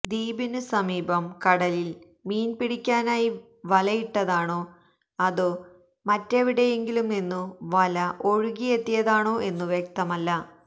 ദ്വീപിനു സമീപം കടലില് മീന്പിടിക്കാനായി വലയിട്ടതാണോ അതോ മറ്റെവിടെയെങ്കിലും നിന്നു വല ഒഴുകിയെത്തിയതാണോ എന്നു വ്യക്തമല്ല